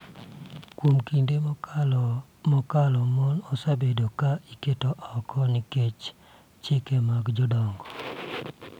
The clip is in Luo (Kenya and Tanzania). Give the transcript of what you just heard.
Kuom kinde mokalo, mon osebedo ka iketo oko nikech chike mag jodongo